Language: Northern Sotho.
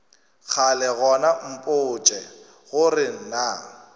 kgale gona mpotše gore na